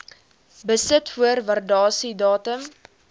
besit voor waardasiedatum